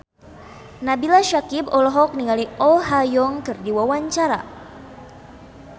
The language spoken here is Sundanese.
Nabila Syakieb olohok ningali Oh Ha Young keur diwawancara